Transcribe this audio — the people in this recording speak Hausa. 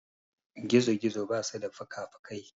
Gizo-gizo basu da fukafukai.